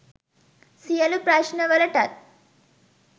සියලු ප්‍රශ්ණවලටත්